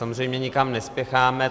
Samozřejmě nikam nespěcháme.